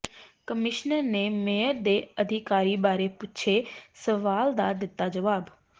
commissioner ਨੇ mayor ਦੇ ਅਧਿਕਾਰਾਂ ਬਾਰੇ ਪੁੱਛੇ ਸਵਾਲ ਦਾ ਦਿੱਤਾ ਜਵਾਬ